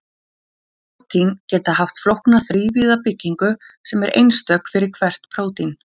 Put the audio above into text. Prótín geta haft flókna þrívíða byggingu sem er einstök fyrir hvert prótín.